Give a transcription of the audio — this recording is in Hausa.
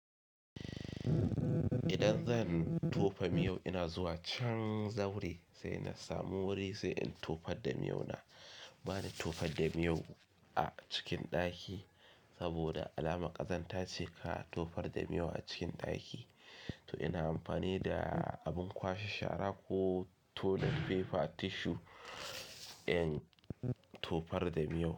Idan zan tofa miyo ina zuwa can zaure sai na samu wuri sai in tofar da miyo na. Bani tofar da miyo a cikin ɗaki saboda alama ƙazanta ce ka tofar da miyo a cikin ɗaki. To ina amfani da abin kwashe shara ko toilet paper tissue in tofar da miyo.